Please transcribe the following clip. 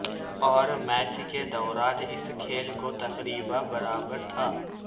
اور میچ کے دوران اس کھیل کو تقریبا برابر تھا